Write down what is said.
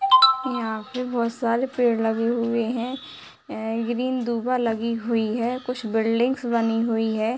यहाँ पे बहुत सारे पेड़ लगे हुए हैं ए ग्रीन दुबा लगी हुई है कुछ बिल्डिंग्स बनी हुई है |